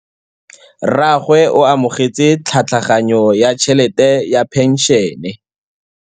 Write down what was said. Rragwe o amogetse tlhatlhaganyô ya tšhelête ya phenšene.